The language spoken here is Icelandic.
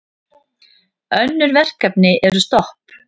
Önnur verkefni eru stopp.